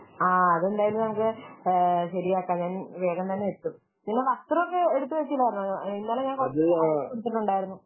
ആഹ് അതെന്തായാലും നമുക്ക് ശരിയാക്കാം. ഞാൻ വേഗം തന്നെ നിങ്ങൾ വസ്ത്രമൊക്കെ എടുത്തു വെച്ചിട്ടുണ്ടായിരുന്നു. ഇന്നലെ ഞാൻ കുറച്ചു എടുത്തിട്ടുണ്ടായിരുന്നു